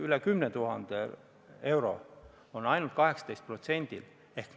Üle 10 000 euro on ainult 18%-l inimestel.